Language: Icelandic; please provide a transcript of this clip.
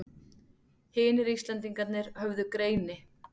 Hinir Íslendingarnir höfðu greini